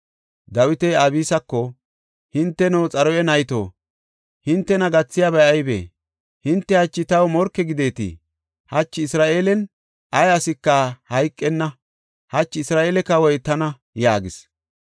Dawiti Abisako, “Hinteno, Xaruya nayto, hintena gathiyabay aybee? Hinte hachi taw morke gideeti! Hachi Isra7eelen ay asika hayqenna! Hachi Isra7eele kawoy tana!” yaagis.